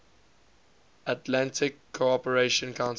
atlantic cooperation council